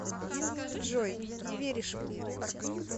джой не веришь мне